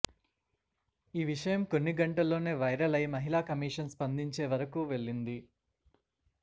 ఈ విషయం కొన్ని గంటల్లోనే వైరల్ అయి మహిళా కమీషన్ స్పందించే వరకు వెళ్లింది